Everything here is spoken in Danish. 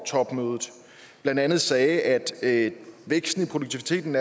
topmødet blandt andet sagde at væksten i produktiviteten